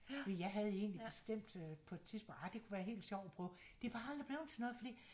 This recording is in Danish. Jeg havde egentlig bestemt på et tidspunkt arr det kunne være helt sjovt at prøve det er bare aldrig blevet til noget fordi